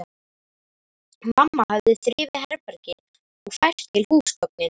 Mamma hafði þrifið herbergið og fært til húsgögnin.